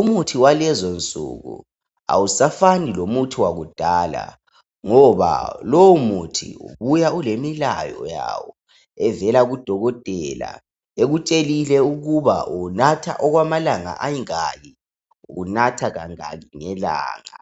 Umuthi walezi nsuku awusafani lomuthi wakudala ngoba lowo muthi uyabu ulemilayo yawo evela kuDokotela ekutshelile ukuba uwunatha okwamalanga amangaki . Uwunatha kangaki ngelanga.